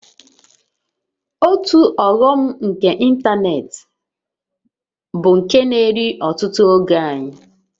Otu ọghọm nke ịntanetị bụ nke na-eri ọtụtụ oge anyị